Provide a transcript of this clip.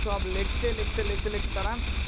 সোয়াব লিখতে লিখতে লিখতে লিখতে তারা,